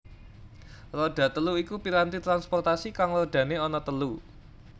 Roda telu iku piranti transportasi kang rodane ana telu